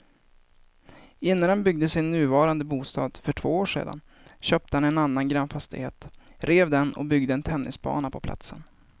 Innan han byggde sin nuvarande bostad för två år sedan köpte han en annan grannfastighet, rev den och byggde en tennisbana på platsen.